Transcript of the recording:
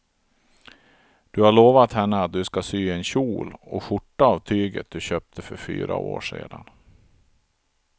Du har lovat henne att du ska sy en kjol och skjorta av tyget du köpte för fyra år sedan.